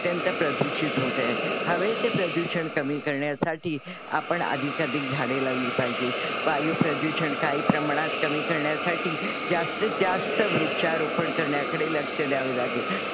अत्यंत प्रधुशीत होत आहे. हवेचे प्रदूषण कमी करण्यासाठी आपण अधिक अधिक झाडे लावली पाहिजेत. वायू प्रदूषण काही प्रमाणात कमी करण्यासाठी जास्तीतजास्त वृक्षारोपण करण्याकडे लक्ष द्यावे लागेल